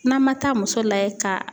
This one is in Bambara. N'an ma taa muso layɛ ka